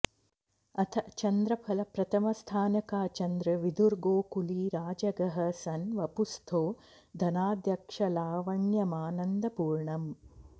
अथ चन्द्रफल प्रथमस्थान का चन्द्र विधुर्गोकुलीराजगः सन् वपुस्थो धनाध्यक्षलावण्यमानंदपूर्णम्